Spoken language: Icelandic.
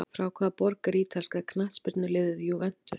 Frá hvaða borg er ítalska knattspyrnuliðið Juventus?